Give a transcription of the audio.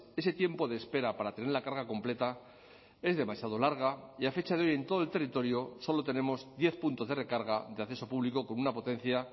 ese tiempo de espera para tener la carga completa es demasiado larga y a fecha de hoy en todo el territorio solo tenemos diez puntos de recarga de acceso público con una potencia